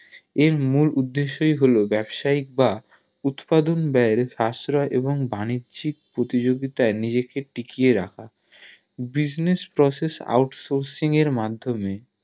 এর মূল উদ্দেশ্যেই হলো ব্যাবসায়িক বা উৎপাদন ব্যায়ের খসড়া এবং বাণিজ্যিক প্রতিযোগিতায় নিজেকে টিকিয়ে রাখা Business Process out sourcing এর মাদ্ধমে